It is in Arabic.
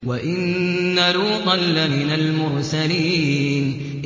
وَإِنَّ لُوطًا لَّمِنَ الْمُرْسَلِينَ